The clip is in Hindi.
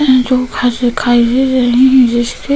जो घर दिखाई दे रही है जिसके --